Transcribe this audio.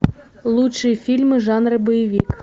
лучшие фильмы жанра боевик